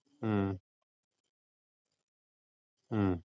ഉം ഉം